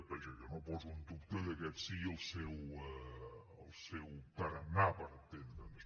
vaja jo no poso en dubte que aquest sigui el seu tarannà per entendre’ns